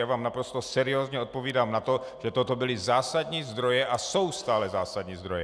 Já vám naprosto seriózně odpovídám na to, že toto byly zásadní zdroje a jsou stále zásadní zdroje.